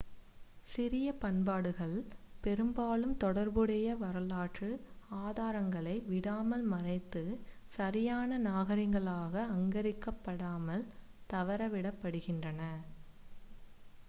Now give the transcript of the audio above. சிறிய பண்பாடுகள் பெரும்பாலும் தொடர்புடைய வரலாற்று ஆதாரங்களை விடாமல் மறைந்து சரியான நாகரிகங்களாக அங்கீகரிக்கப்படாமல் தவறவிடப்படுகின்றன